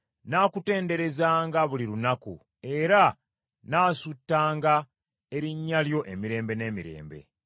Nnaakutenderezanga buli lunaku; era nnaasuutanga erinnya lyo emirembe n’emirembe.